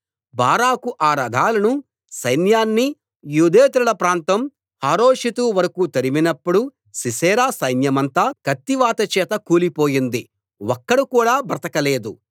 బారాకు ఆ రథాలను సైన్యాన్ని యూదేతరుల ప్రాంతం హరోషెతు వరకూ తరిమినప్పుడు సీసెరా సైన్యమంతా కత్తివాత చేత కూలిపోయింది ఒక్కడు కూడా బ్రతకలేదు